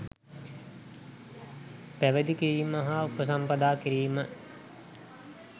පැවිදි කිරීම හා උපසම්පදා කිරීම